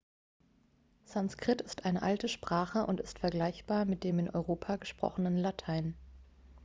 sanskrit ist eine alte sprache und ist vergleichbar mit dem in europa gesprochenen latein